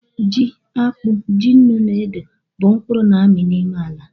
Ji, akpu, ji ńnú na ede, bu mkpuru na-ami n'ime ala